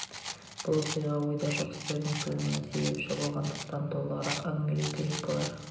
бұл оқиға ойда жоқ істердің тууына себепші болғандықтан толығырақ әңгімелеу керек болар